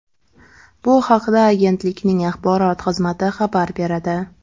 Bu haqda agentlikning axborot xizmati xabar beradi .